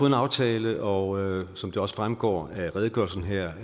en aftale og som det også fremgår af redegørelsen her